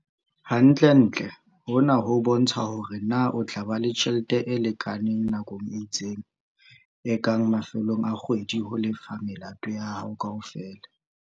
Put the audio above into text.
Hantlentle, hona ho bontsha hore na o tla ba le tjhelete e lekaneng nakong e itseng, e kang mafelong a kgwedi ho lefa melato ya hao kaofela.